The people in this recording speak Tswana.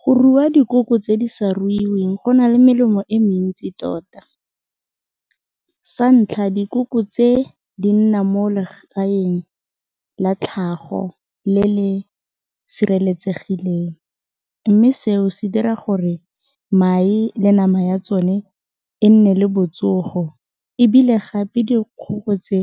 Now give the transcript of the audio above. Go rua dikoko tse di sa ruiweng go na le melemo e mentsi tota, sa ntlha dikoko tse di nna mo legaeng la tlhago le le sireletsegileng mme seo se dira gore mae le nama ya tsone e nne le botsogo ebile gape dikgogo tse